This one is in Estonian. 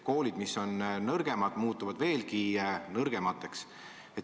Koolid, mis on nõrgemad, muutuvad veelgi nõrgemateks.